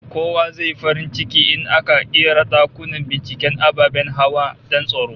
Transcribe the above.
Kowa zai yi farin ciki in aka ƙera dakunan binciken ababen hawa don tsaro